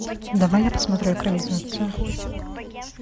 давай я посмотрю экранизацию